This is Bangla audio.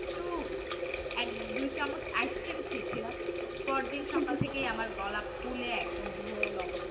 একটু এক দুই চামচ খেয়েছিলাম পরদিন সকাল থেকে গলা ফুলে একদম ঢোল অবস্থা